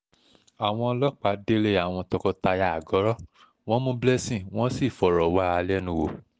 àwọn ọlọ́pàá délé àwọn tọkọ-taya àgọ́rọ́ wọn mú blessing wọ́n sì fọ̀rọ̀ wá a lẹ́nu wò